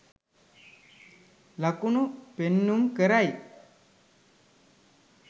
ලකුණු පෙන්නුම් කරයි.